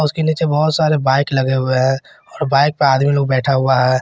उसके नीचे बहुत सारे बाइक लगे हुए हैं और बाइक पे आदमी लोग बैठा हुआ है।